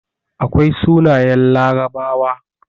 Akwai sunayen larabawa